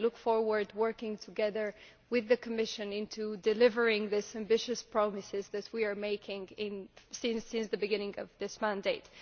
I look forward to working together with the Commission on delivering the ambitious promises that we have been making since the beginning of this mandate.